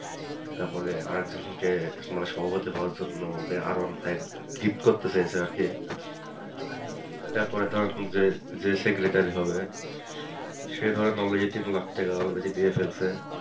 তারপরে আরেকজন কে মানে সভাপতি হওয়ার জন্য R one five gift করতে চাইছে আর কি তারপরে ধরেন যে যে secretary হবে সে ধরেন already তিন লাখ টাকা already দিয়ে ফেলছে।